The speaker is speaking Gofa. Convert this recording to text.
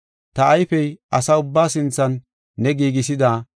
Ta ayfey asaa ubbaa sinthan ne giigisida,